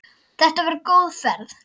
Þetta var góð ferð.